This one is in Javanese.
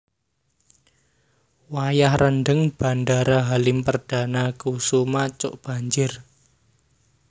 Wayah rendheng Bandara Halim Perdanakusuma cok banjir